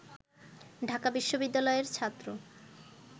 ঢাকা বিশ্ববিদ্যালয়ের ছাত্র